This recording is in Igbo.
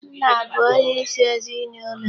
Nna bụ onyeisi ezinụlọ.